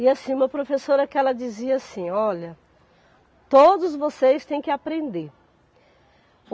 E assim, uma professora que ela dizia assim, olha, todos vocês têm que aprender.